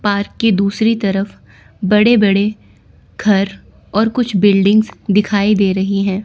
Park के दूसरी तरफ बड़े बड़े घर और कुछ बिल्डिंग्स दिखाई दे रही हैं।